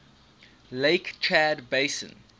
lake chad basin